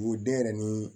Wo den yɛrɛ ni